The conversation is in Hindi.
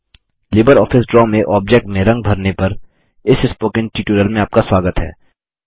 लिबर ऑफिस ड्रा में ऑब्जेक्ट में रंग भरने पर इस स्पोकन ट्यूटोरियल में आपका स्वागत है